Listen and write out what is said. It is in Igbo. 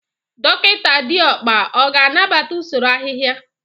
Dọkịta Diokpa ọ ga-anabata usoro ahịhịa?